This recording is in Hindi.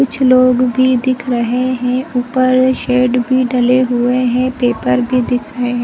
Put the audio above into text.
कुछ लोग भी दिख रहे है ऊपर शेड भी डले हुए है पेपर भी दिख रहा है।